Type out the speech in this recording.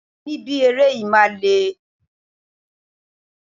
Ibi ni ibi eré yìí máa le.